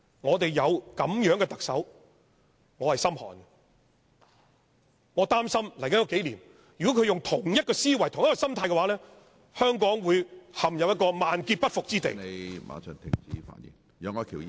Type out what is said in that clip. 我擔心如果在接着數年，她採用同一思維和心態，香港會陷入一個萬劫不復之地......